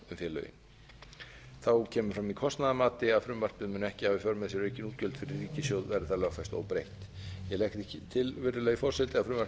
félögin þá kemur fram í kostnaðarmati að frumvarpið mun ekki hafa í för með sér aukin útgjöld fyrir ríkissjóð verði